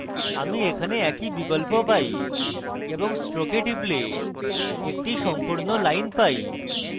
আমি এখানে একই বিকল্প পাই এবং stroke a টিপলে একটি সম্পূর্ণ line পাই